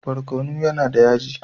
Barkono yAna da yaji